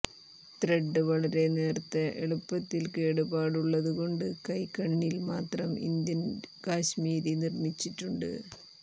thread വളരെ നേർത്ത എളുപ്പത്തിൽ കേടുപാടുള്ളതുകൊണ്ട് കൈകണ്ണിൽ മാത്രം ഇന്ത്യൻ കശ്മീരി നിർമ്മിച്ചിട്ടുണ്ട്